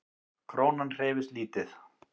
Krónan hreyfist lítið